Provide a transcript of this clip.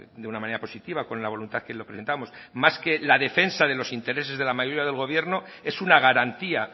de una manera positiva con la voluntad que lo presentamos más que la defensa de los intereses de la mayoría del gobierno es una garantía